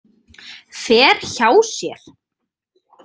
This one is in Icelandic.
Fer hjá sér.